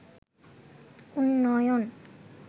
উন্নয়ন